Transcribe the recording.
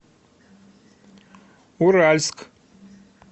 уральск